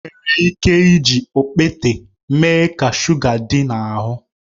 Enwere ike iji okpete mee ka shuga dị n'ahụ